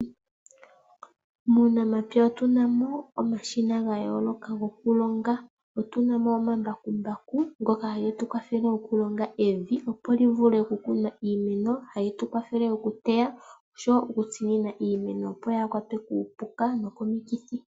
Muunamapya otunamo omashina ga yooloka goku longa. Otu namo oma mbakumbaku, ngoka hagetu kwathele oku longa evi opo dji vule oku kunwa iimeno. Ohali tu kwathele oku teya, nosho wo oku tsinina iimeno opo yaaha kwatwe kuupuka nokomi kithi.